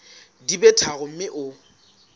di be tharo mme o